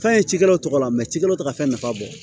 Fɛn ye cikɛlaw tɔgɔ la mɛ ci cikɛlaw tɔgɔ ka fɛn nafa bɔ